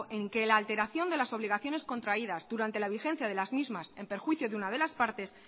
en que la alteración de las obligaciones contraídas durante la vigencia de las mismas en perjuicio de una de las partes